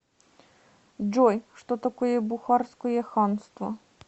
джой что такое бухарское ханство